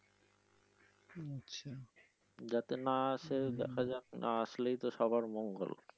যাতে না আসে দেখা যাক না আসলেই তো মঙ্গল।